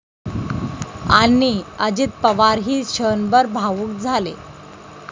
...आणि अजित पवारही क्षणभर भाऊक झाले!